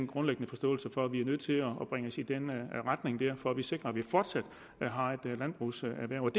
grundlæggende forståelse for at vi er nødt til at bringe os i den retning for at vi sikrer at vi fortsat har et landbrugserhverv